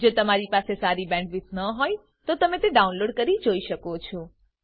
જો તમારી પાસે સારી બેન્ડવિડ્થ ન હોય તો તમે ડાઉનલોડ કરી તે જોઈ શકો છો